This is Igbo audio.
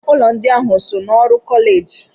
Ụlọ ndị a so n'ọrụ kọleji?